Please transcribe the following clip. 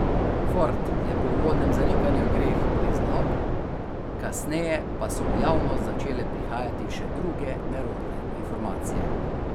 Ford je po uvodnem zanikanju greh priznal, kasneje pa so v javnost začele prihajati še druge nerodne informacije.